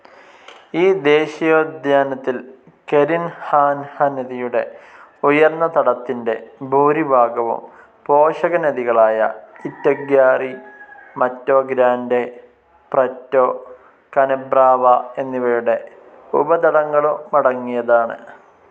ഈ ദേശീയോദ്യാനത്തിൽ കരിൻഹാൻഹ നദിയുടെ ഉയർന്ന തടത്തിൻറെ ഭൂരിഭാഗവും പോഷകനദികളായ Itaguari, Mato Grande, Preto, Canabrava എന്നിവയുടെ ഉപതടങ്ങളുമടങ്ങിയതാണ്.